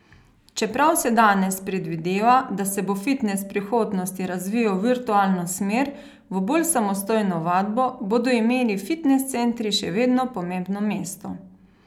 Čeprav se danes predvideva, da se bo fitnes v prihodnosti razvijal v virtualno smer, v bolj samostojno vadbo, bodo imeli fitnes centri, še vedno pomembno mesto.